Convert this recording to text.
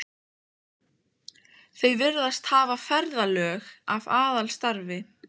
Þau virðast hafa ferðalög að aðalstarfi.